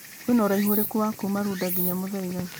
kwĩna ũraihũ ũrĩkũ wa gũthiĩ kuuma runda nginya mũthaiga